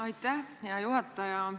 Aitäh, hea juhataja!